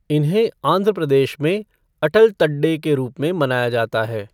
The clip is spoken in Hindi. इन्हें आंध्र प्रदेश में अटल तड्डे के रूप में मनाया जाता है।